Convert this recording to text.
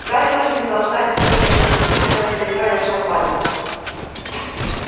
гарри тоже не стал ждать осторожно влез в трубу держась за её край и разжал пальцы